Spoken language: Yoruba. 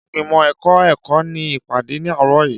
Ìgbìmọ̀ ẹ̀kọ́ ẹ̀kọ́ ní ìpàdé ní àárọ̀ yìí.